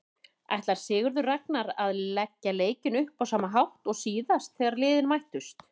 Ætlar Sigurður Ragnar að leggja leikinn upp á sama hátt og síðast þegar liðin mættust?